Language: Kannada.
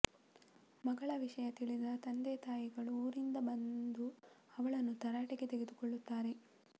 ಮಗಳ ವಿಷಯ ತಿಳಿದ ತಂದೆತಾಯಿಗಳು ಊರಿಂದ ಬಂದು ಅವಳನ್ನು ತರಾಟೆಗೆ ತೆಗೆದುಕೊಳ್ಳುತ್ತಾರೆ